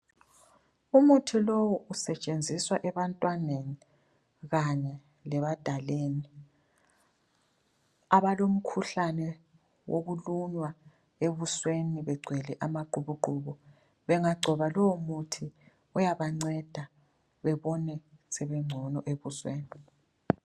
Umuthi lowu usetshenziswa ebantwaneni kanye lebadaleni abalomkhuhlane wokulunywa ebusweni begcwele amaqubuqubu. Bengagcoba lowomuthi uyabanceda bebone sebengcono ebusweni.